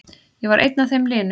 Ég var einn af þeim linu.